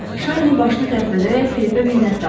Şarni başını tərpədərək Filipə minnətdarlıq etdi.